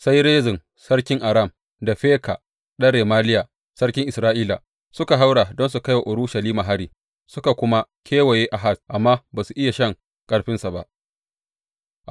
Sai Rezin sarkin Aram, da Feka ɗan Remaliya sarkin Isra’ila suka haura don su kai wa Urushalima hari, suka kuma kewaye Ahaz, amma ba su iya shan ƙarfinsa ba.